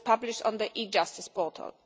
It is published on the e Justice portal.